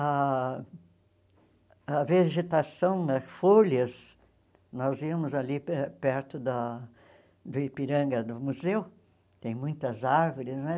A a vegetação, né folhas, nós íamos ali pe perto da do Ipiranga do museu, tem muitas árvores, né?